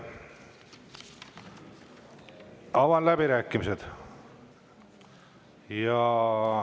Avan läbirääkimised.